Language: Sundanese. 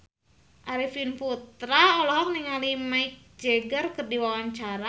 Arifin Putra olohok ningali Mick Jagger keur diwawancara